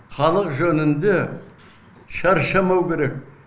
халық жөнінде шаршамау керек